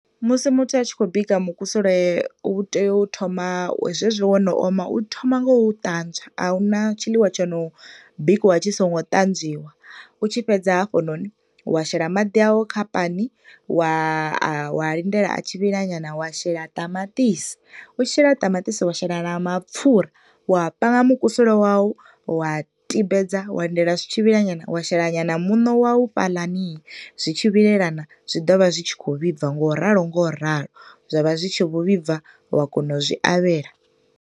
Musi muthu a tshi khou bika mukusule u tea u thoma zwezwi wo no oma u thoma nga u ṱanzwa, a huna tshiḽiwa tshono bikiwa tshi songo ṱanzwiwa. U tshi fhedza hafhanoni wa shela maḓi awu kha pani wa a wa a lindela a tshi vhila nyana, wa shela ṱamaṱisi, u tshi shela ṱamaṱisi wa shela na mapfura, wa panga mukusule wawu, wa tibedza, wa lindela zwo tshi vhila nyana, wa shela nyana muṋo wawu fhaḽani, zwi tshi vhilelana, zwi ḓo vha zwi tshi khou vhibva nga u ralo nga u ralo, zwa vha zwi tshi vho vhibva, wa kona u zwi avhela.